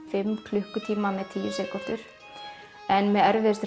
fimm klukkutíma með tíu sekúndur en með erfiðustu